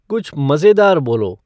कुछ मज़ेदार बोलो